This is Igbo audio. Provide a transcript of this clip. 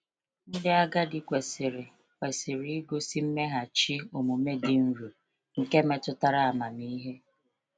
Ndị agadi kwesịrị kwesịrị igosi mmeghachi omume dị nro nke metụtara amamihe.